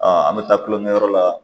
an bɛ taa kulonkɛ kɛ yɔrɔ la